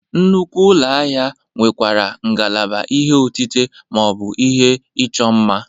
Nnukwu ụlọ ahịa nwekwara ngalaba ihe otite ma ọ bụ ihe ịchọ mma.